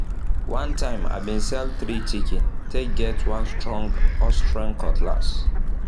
one time i been sell three chicken take get one strong austrian cutlass